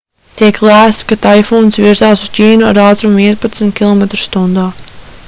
tiek lēsts ka taifūns virzās uz ķīnu ar ātrumu vienpadsmit km/h